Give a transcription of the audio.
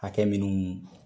Hakɛ minnu